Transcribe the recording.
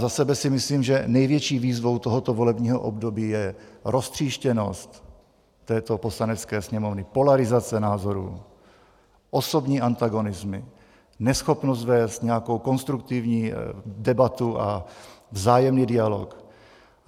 Za sebe si myslím, že největší výzvou tohoto volebního období je roztříštěnost této Poslanecké sněmovny, polarizace názorů, osobní antagonismus, neschopnost vést nějakou konstruktivní debatu a vzájemný dialog.